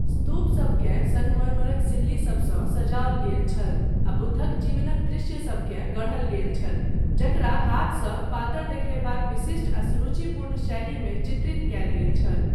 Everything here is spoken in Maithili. स्तूपसभकेँ सङ्गमरमरक सिल्लिीसभसँ सजाओल गेल छल आ बुद्धक जीवनक दृश्यसभकेँ गढ़ल गेल छल जकरा हाथसँ पातर देखयबाक विशिष्ट आ सुरुचिपूर्ण शैलीमे चित्रित कयल गेल छल।